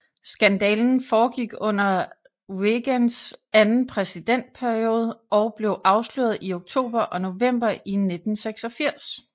Skandalen foregik under Reagans anden præsidentperiode og blev afsløret i oktober og november i 1986